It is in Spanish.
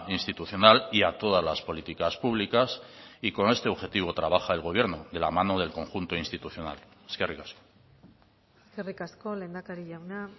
institucional y a todas las políticas públicas y con este objetivo trabaja el gobierno de la mano del conjunto institucional eskerrik asko eskerrik asko lehendakari jauna